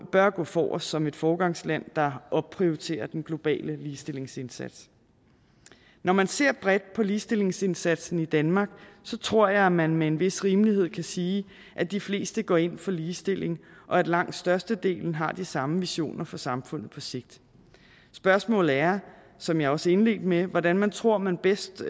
bør gå forrest som et foregangsland der opprioriterer den globale ligestillingsindsats når man ser bredt på ligestillingsindsatsen i danmark tror jeg at man med en vis rimelighed kan sige at de fleste går ind for ligestilling og at langt størstedelen har de samme visioner for samfundet på sigt spørgsmålet er som jeg også indledte med hvordan man tror man bedst